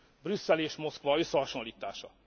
Brüsszel és Moszkva összehasonlítása.